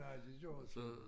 Ej det gør det sgu ik